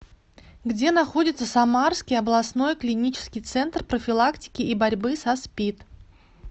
где находится самарский областной клинический центр профилактики и борьбы со спид